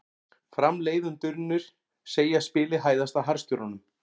Framleiðendurnir segja spilið hæðast að harðstjórunum